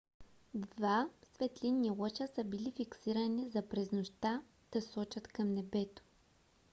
два светлинни лъча са били фиксирани за през нощта да сочат към небето